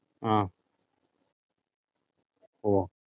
ആഹ് ഓഹ്